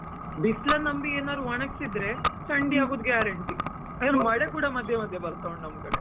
ಬಿಸ್ಲನ್ನ ನಂಬಿ ಏನಾದ್ರು ಒಣಗ್ಸಿದ್ರೆ ಚಂಡಿ ಆಗುದು guarantee , ಮಳೇ ಕೂಡ ಮಧ್ಯ ಮಧ್ಯ ಬರ್ತಾ ಉಂಟು ನಮ್ ಕಡೆ.